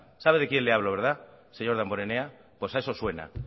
sabe de quién le hablo verdad señor damborenea pues a eso suena